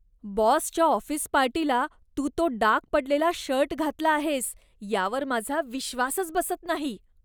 बॉसच्या ऑफिस पार्टीला तू तो डाग पडलेला शर्ट घातला आहेस यावर माझा विश्वासच बसत नाही.